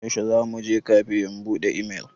Yaushe za mu je kafe in buɗe imel?